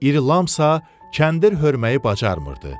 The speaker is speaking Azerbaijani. İri Lam isə kəndir hörməyi bacarmırdı.